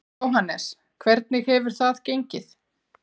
Jóhannes: Hvernig hefur það gengið?